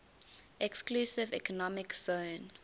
exclusive economic zone